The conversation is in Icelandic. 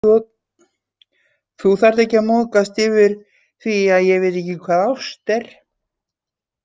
Þarft ekki að móðgast yfir því að ég viti ekki hvað ást er.